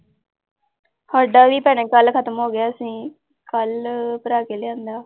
ਸਾਡਾ ਵੀ ਭੈਣੇ ਕੱਲ੍ਹ ਖ਼ਤਮ ਹੋ ਗਿਆ, ਅਸੀਂ ਕੱਲ੍ਹ ਭਰਾ ਕੇ ਲਿਆਂਦਾ।